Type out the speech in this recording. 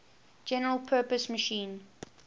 general purpose machine